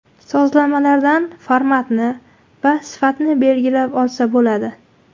Sozlamalarda formatni va sifatni belgilab olsa bo‘ladi.